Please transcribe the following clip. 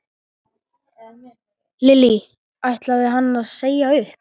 Lillý: Ætlaði hann að segja upp?